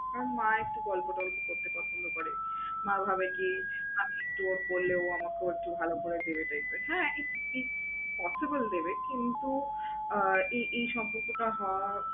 আর মা একটু গল্প-টল্প করতে পছন্দ করে। মা ভাবে কি আমি একটু ওকে বললে ও আমাকেও একটু ভালো করে ভেবে দেখবে। হ্যাঁ possible দেবে কিন্তু আহ এই এই সম্পর্কটা হওয়া